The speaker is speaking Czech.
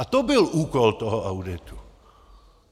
A to byl úkol toho auditu.